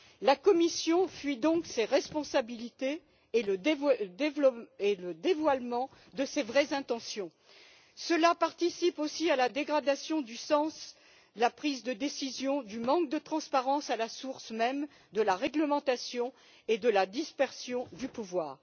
La Commission fuit donc ses responsabilités et le dévoilement de ses vraies intentions. Cela participe aussi de la dégradation du sens de la prise de décision, du manque de transparence à la source même de la réglementation et de la dispersion du pouvoir.